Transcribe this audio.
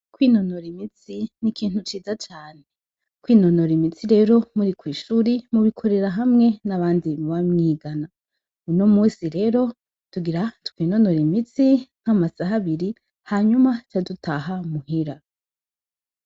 kwinonora imitsi n'ikintu ciza cane kwinonora imitsi rero muri kw'ishuri mu bikorera hamwe n'abandi muba mwigana uyu munsi rero tugira twinonore imitsi nka masaha abiri hanyuma duce dutaha muhira.